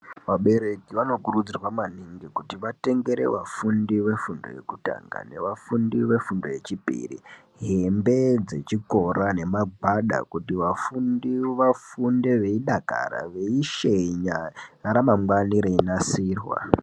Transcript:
Vabereki vanokurudzirwa maningi kuti vatengere vafundi vefundo yekutanga nevafundi vefundo yechipiri hembe dzechikora nemagwada kuti vafundi vafunde veidakara veishenya ramangwani reinasirwa.